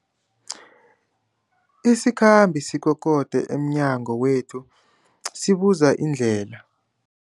Isikhambi sikokode emnyango wethu sibuza indlela.